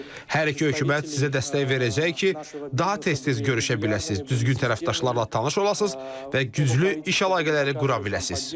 Hər iki hökumət sizə dəstək verəcək ki, daha tez-tez görüşə biləsiz, düzgün tərəfdaşlarla tanış olasınız və güclü iş əlaqələri qura biləsiniz.